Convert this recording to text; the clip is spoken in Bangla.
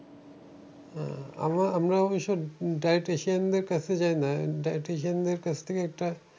হ্যাঁ আমরা~ আমরাও অবশ্য dietitian দের কাছে যাই না, dietitian দের কাছ থেকে একটা